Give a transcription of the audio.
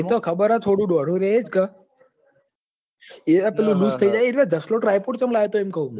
એ તો ખબર હ થોડું ડોઢું રેજ એજ ક એ પેલી લીક થઇ જશલો typot ચમ લાયો ઈમ કવ હું